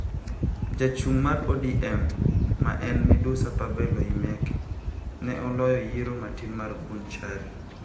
Jachung' mar ODM ma en Midusa Pavel Oimeke ne oloyo yiero matin' mar Bonchari.